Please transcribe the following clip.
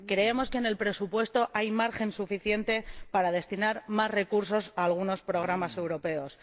Creemos que en el presupuesto hay margen suficiente para destinar más recursos a algunos programas europeos.